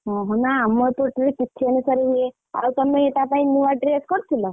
ଓହୋ ନା ଆମର ଏପଟରେ ତିଥି ଅନୁସାରେ ହୁଏ। ଆଉ ତମେ ତା ପାଇଁ ନୂଆ dress କରିଥିଲ?